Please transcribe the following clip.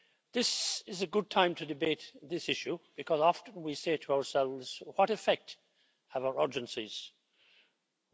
This is a good time to debate this issue, because often we say to ourselves what effect do our urgencies have?